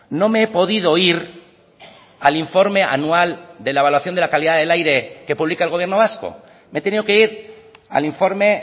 no me he podido ir al informe anual de la evaluación de la calidad del aire que publica el gobierno vasco me he tenido que ir al informe